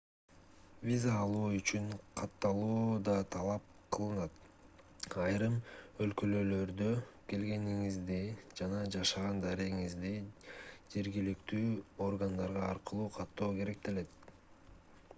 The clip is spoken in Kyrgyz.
виза алуу үчүн катталуу да талап кылынат айрым өлкөлөрдө келгениңизди жана жашаган дарегиңизди жергиликтүү органдар аркылуу каттоо керектелет